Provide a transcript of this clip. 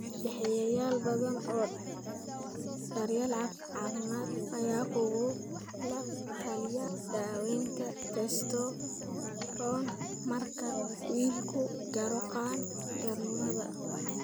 Bixiyeyaal badan oo daryeel caafimaad ayaa kugula taliya daaweynta testosterone marka wiilku gaaro qaan-gaarnimada.